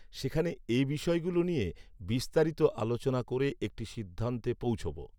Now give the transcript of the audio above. সেখানে এ বিষয়গুলো নিয়ে বিস্তারিত আলোচনা করে একটি সিদ্ধান্তে পৌঁছব